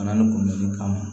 Fana ni kunbɛli kama